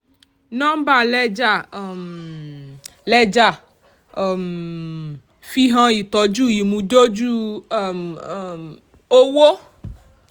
nọ́mbà lẹ́jà um lẹ́jà um fi hàn ìtọ́jú ìmúdójú um owó.